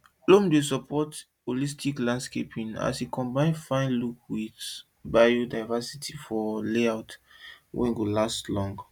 loam dey support holistic landscaping as e combine fine look with biodiversity for layout wey go last long